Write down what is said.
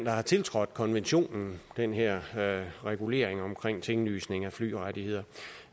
har tiltrådt konventionen den her regulering i tinglysning af flyrettigheder